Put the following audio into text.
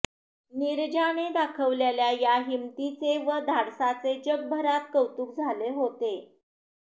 नीरजाने दाखवलेल्या या हिमतीचे व धाडसाचे जगभरात कौतुक झाले होते